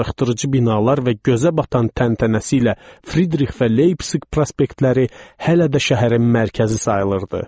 Darıxdırıcı binalar və gözə batan təntənəsi ilə Fridrix və Leypsiq prospektləri hələ də şəhərin mərkəzi sayılırdı.